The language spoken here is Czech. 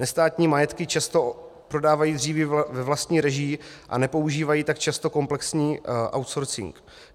Nestátní majetky často prodávají dříví ve vlastní režii a nepoužívají tak často komplexní outsourcing.